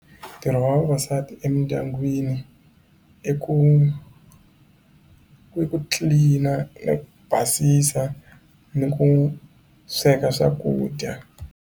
Ntirho wa vavasati emindyangwini i ku ku ku clean ku basisa ni ku sweka swakudya.